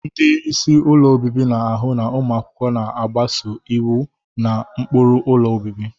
Ndị isi ụlọ obibi na-ahụ na ụmụ akwụkwọ na-agbaso iwu na ụkpụrụ ụlọ obibi.